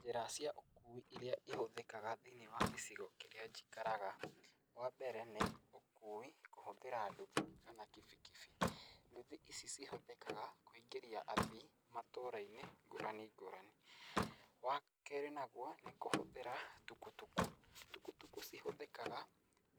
Njĩra cia ũkui iria ihũthĩkaga thĩinĩ wa gĩcigo kĩrĩa njikaraga, wambere nĩ ũkui kũhũthĩra nduthi kana kibikibi, ndũthi ici cihũthĩkaga kũingĩrĩa athii matũrainĩ ngũrani ngũrani. Wakerĩ naguo nĩ kũhũthĩra tukutuku, tukutuku cihũthĩkaga